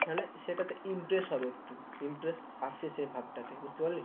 সেটাতে impress হবে একটু impress আসে সে ভাবটাতে বুঝতে পারলি?